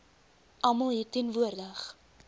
almal hier teenwoordig